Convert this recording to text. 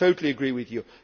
I totally agree with you.